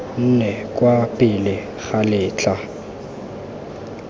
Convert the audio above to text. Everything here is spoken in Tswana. nne kwa pele ga letlha